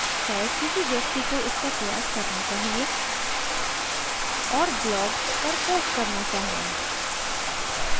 शायद किसी व्यक्ति को इसका प्रयास करना चाहिए और blog पर post करना चाहिए